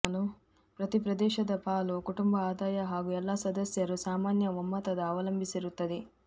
ಪ್ರತಿ ಪ್ರದೇಶದ ಪಾಲು ಕುಟುಂಬ ಆದಾಯ ಹಾಗೂ ಎಲ್ಲ ಸದಸ್ಯರು ಸಾಮಾನ್ಯ ಒಮ್ಮತದ ಅವಲಂಬಿಸಿರುತ್ತದೆ